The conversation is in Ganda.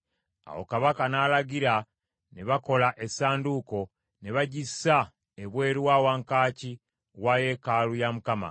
Awo kabaka n’alagira ne bakola essanduuko, ne bagissa ebweru wa wankaaki wa yeekaalu ya Mukama .